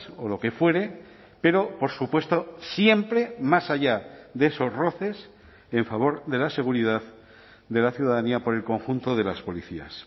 o lo que fuere pero por supuesto siempre más allá de esos roces en favor de la seguridad de la ciudadanía por el conjunto de las policías